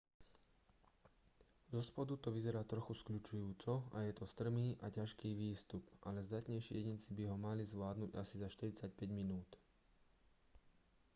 zospodu to vyzerá trochu skľučujúco a je to strmý a ťažký výstup ale zdatnejší jedinci by ho mali zvládnuť asi za 45 minút